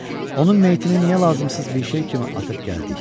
Onun meyitini niyə lazımsız bir şey kimi atıb gəldik?